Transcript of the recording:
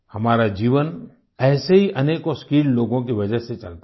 हमारा जीवन ऐसे ही अनेकों स्किल्ड लोगों की वजह से चलता है